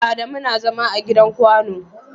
Adamu na zama a gidan kwano.